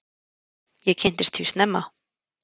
Ég kynntist því snemma.